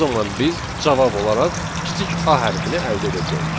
o zaman biz cavab olaraq kiçik A hərfini əldə edəcəyik.